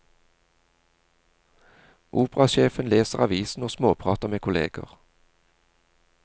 Operasjefen leser avisen og småprater med kolleger.